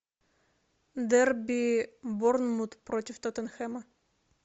дерби борнмут против тоттенхэма